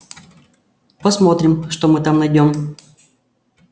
посмотрим что мы там найдём